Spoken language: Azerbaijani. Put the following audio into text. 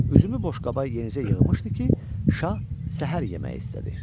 Üzümü boşqaba yenicə yığmışdı ki, şah səhər yeməyi istədi.